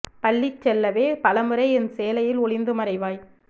பள்ளி செல்லவே பல முறை என் சேலையில் ஒளிந்து மறைவாய்